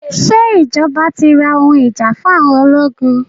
Ṣé ìjọba ti ra ohun ìjà fún àwọn ológun?